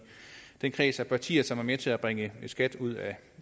den kreds af partier som er med til at bringe skat ud af